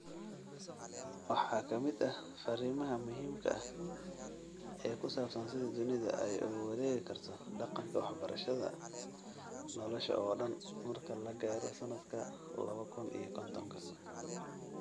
Waxaa ka mid ah fariimaha muhiimka ah ee ku saabsan sida dunidu ay ugu wareegi karto dhaqanka waxbarashada nolosha oo dhan marka la gaaro sanadka lawa kun iyo kontonka.